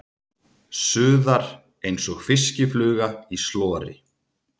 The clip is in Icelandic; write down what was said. Suðar einsog fiskifluga í slori.